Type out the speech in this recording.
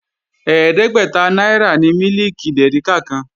Ẹ̀ẹ́dẹ́gbẹ́ta náírà ni mílìkì dèríkà kan